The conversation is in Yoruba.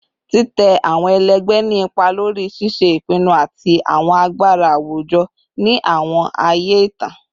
Titẹ awọn ẹlẹgbẹ ni ipa lori ṣiṣe ipinnu ati awọn agbara awujọ ni awọn aaye itan